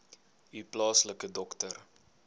u plaaslike dokter